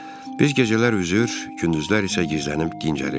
Biz gecələr üzür, gündüzlər isə gizlənib dincəlirdik.